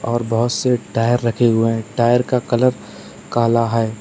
और बहुत से टायर रखे हुए हैं टायर का कलर काला है।